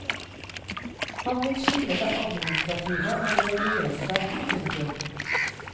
Han vil skille det administrative og det religiøse. punktum